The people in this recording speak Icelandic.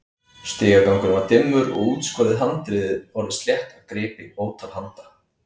Stigagangurinn var dimmur og útskorið handriðið orðið slétt af gripi ótal handa.